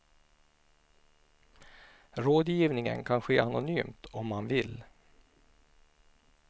Rådgivningen kan ske anonymt om man vill.